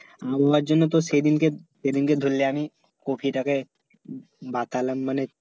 আবহওয়া জন্য তো সেই দিনকে সেই দিনকে ধরলে আমি কপি টাকে বাতালাম মানে